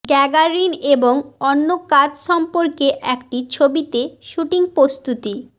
Gagarin এবং অন্য কাজ সম্পর্কে একটি ছবিতে শুটিং প্রস্তুতি